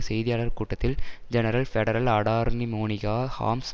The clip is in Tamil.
செய்தியாளர் கூட்டத்தில் general federal attorney Monica harms